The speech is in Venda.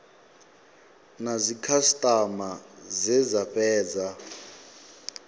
na dzikhasitama dze dza fhedza